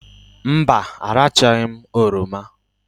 Mba, arachaghị m oroma